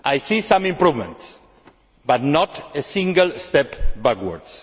I see some improvements but not a single step backwards.